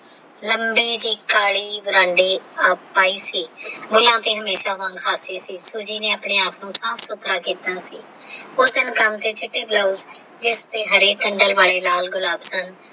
ਲੰਬੇ ਤੇ ਕਾਲੇ ਆਪਾ ਹੀ ਸੀ ਬੁੱਲਾ ਤੇ ਹਮੇਸ਼ਾ ਹੁਣ ਹਾਸੇ ਸੀ Soji ਨੇ ਹੁਣ ਆਪਣੇ ਆਪ ਨੂੰ ਸਾਫ ਸੁੱਥਰਾ ਕਿੱਤਾ ਸੀ ਉਸ ਦਿਨ ਕੰਮ ਤੇ ਤੇ ਛਿਪੀ ਜਿਸ ਦੇ ਹਰੇ ਡੰਡਲ ਵਾਲੇ ਲਾਲ ਗੁਲਾਬ ਸਨ।